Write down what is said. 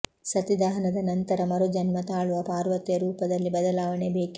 ಸತಿ ದಹನದ ನಂತರ ಮರುಜನ್ಮ ತಾಳುವ ಪಾರ್ವತಿಯ ರೂಪದಲ್ಲಿ ಬದಲಾವಣೆ ಬೇಕಿತ್ತು